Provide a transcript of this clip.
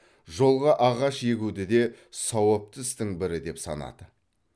жолға ағаш егуді де сауапты істің бірі деп санады